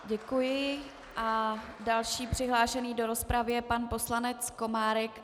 Děkuji a další přihlášený do rozpravy je pan poslanec Komárek.